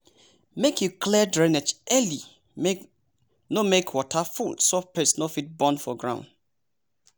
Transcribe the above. make you clear drainage early no make water full so pest no fit born for ground.